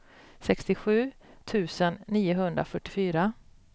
sextiosju tusen niohundrafyrtiofyra